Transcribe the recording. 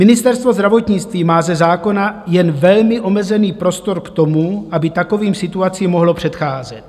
Ministerstvo zdravotnictví má ze zákona jen velmi omezený prostor k tomu, aby takovým situacím mohlo předcházet.